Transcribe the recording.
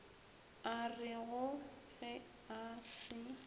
a rego ge a se